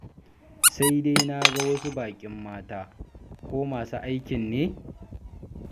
Sai dai na ga wasu baƙin mata, ko masu aikin ne?